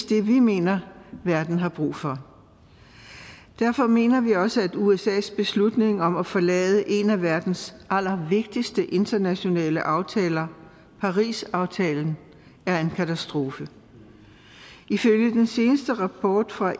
det vi mener verden har brug for derfor mener vi også at usas beslutning om at forlade en af verdens allervigtigste internationale aftaler parisaftalen er en katastrofe ifølge den seneste rapport fra